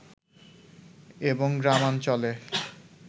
এবং গ্রামাঞ্চলে